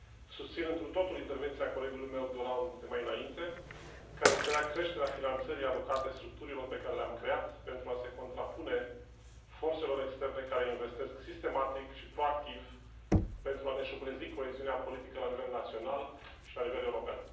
Susțin întru totul intervenția colegului meu Durand de mai înainte, care cerea creșterea finanțării alocate structurilor pe care le am creat pentru a se contrapune forțelor externe care investesc sistematic și proactiv pentru a ne șubrezi coeziunea politică la nivel național și la nivel european.